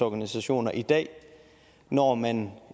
organisationer i dag når man